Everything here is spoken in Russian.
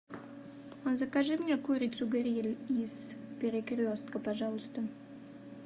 закажи мне курицу гриль из перекрестка пожалуйста